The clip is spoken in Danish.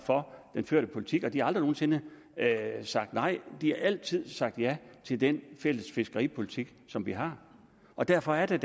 for den førte politik og de har aldrig nogen sinde sagt nej de har altid sagt ja til den fælles fiskeripolitik som vi har og derfor er det